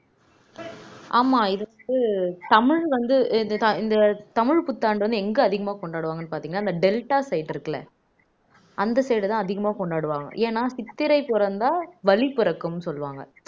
ஆமா இதுக்கு தமிழ் வந்து இந்த தமிழ் புத்தாண்டு வந்து எங்க அதிகமா கொண்டாடுவாங்கன்னு பாத்தீங்கன்னா இந்த டெல்டா side இருக்குல்ல அந்த side தான் அதிகமா கொண்டாடுவாங்க ஏன்னா சித்திரை பிறந்தா வழி பிறக்கும்ன்னு சொல்லுவாங்க